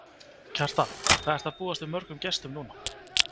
Kjartan: Hvað ertu að búast við mörgum gestum núna?